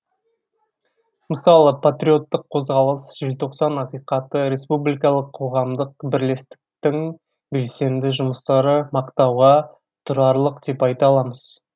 мысалы патриоттық қозғалыс желтоқсан ақиқаты республикалық қоғамдық бірлестіктің белсенді жұмыстары мақтауға тұрарлық деп айта аламыз